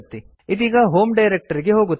ಇದೀಗ ಹೋಮ್ ಡೈರಕ್ಟರಿಗೆ ಹೋಗುತ್ತದೆ